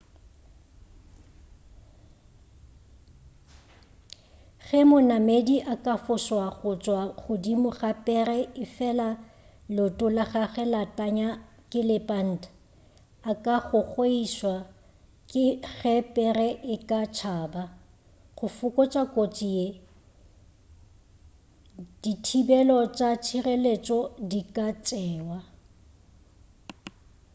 ge monamedi a ka fošwa go tšwa godimo ga pere efela leoto la gagwe la tanya ke lepanta a ka gogoišwa ge pere e ka tšaba go fokotša kotsi ye di thibelo tša tšhireletšo di ka tšewa